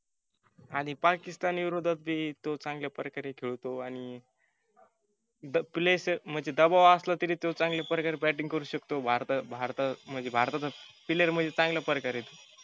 आणि पाकिस्तान विरोद्धात ते तो चांगल्या प्रकारे खेळतो आणि द प्ले म्हणजे दबाव असला तरी तो चांगल्या प्रकारे batting करु शकतो. भारता भारता म्हणजे भारताचा player म्हणजे चांगल्या प्रकारे आहे तो.